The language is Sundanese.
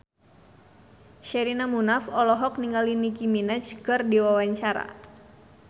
Sherina Munaf olohok ningali Nicky Minaj keur diwawancara